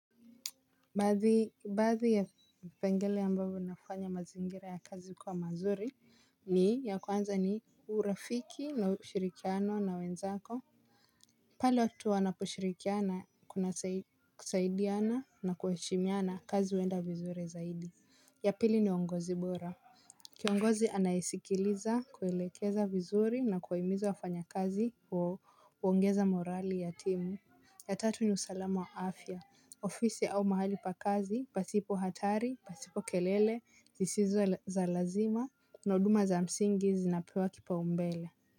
Baadhi ya vipengele ambavyo nafanya mazingira ya kazi kuwa mazuri ni ya kwanza ni urafiki na ushirikiano na wenzako. Pale watu wanaposhirikiana kuna kusaidiana na kuheshimiana kazi huenda vizuri zaidi. Ya pili ni uongozi bora. Kiongozi anayesikiliza, kuelekeza vizuri na kuwahimiza wafanyakazi huongeza morali ya timu. Ya tatu ni usalamu wa afya, ofisi au mahali pa kazi pasipo hatari, pasipo kelele zisizo za lazima na huduma za msingi zinapewa kipaumbele.